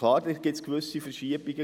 Klar gibt es gewisse Verschiebungen.